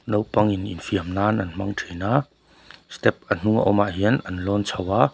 naupang in infiam nan an hmang thin a step a hnung a awm ah hian an lawn chho a.